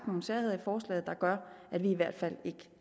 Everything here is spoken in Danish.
nogle særheder i forslaget der gør at vi i hvert fald ikke